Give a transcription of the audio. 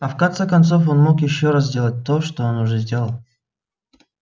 а в конце концов он мог и ещё раз сделать то что он уже сделал